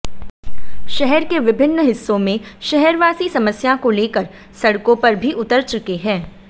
शहर के विभिन्न हिस्सों में शहरवासी समस्या को लेकर सड़कों पर भी उतर चुके हैं